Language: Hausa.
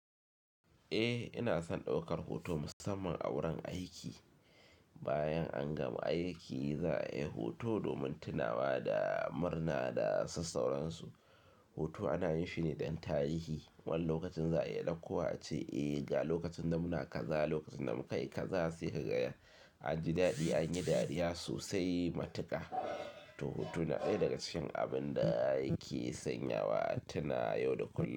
Eh ina son ɗaukar hoto musamman a wurin aiki. Bayan an gama aiki za a yi hoto domin tunawa da murna da susauran su. Hoto ana yin shi ne don tarihi. Wannan lokacin za a iya ɗauko ace. Eh, ga lokacin da muna kaza, lokacin da muka yi kaza sai ka gaya an ji daɗi, an yi dariya sosai. Matuka to hotu na ɗaya daga cikin abin da yake sanyawa tunawa da kullum.